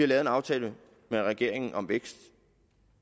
lave en aftale med regeringen om vækst